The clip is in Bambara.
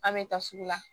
An bɛ taa sugu la